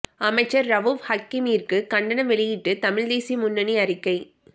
அமைச்சர் ரவூப் ஹக்கீமிற்கு கண்டனம் வெளியிட்டு தமிழ் தேசிய முன்னணி அறிக்கை